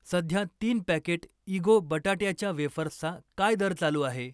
सध्या तीन पॅकेट इगो बटाट्याच्या वेफर्सचा काय दर चालू आहे?